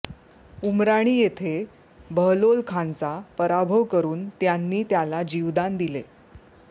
उमराणी येथे बहलोलखानचा पराभव करून त्यांनी त्याला जीवदान दिले